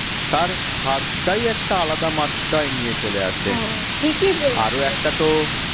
তার স্বাদটাই একটা আলাদা মাত্রায় নিয়ে চলে আসে আরো একটা তো